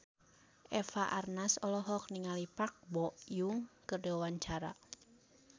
Eva Arnaz olohok ningali Park Bo Yung keur diwawancara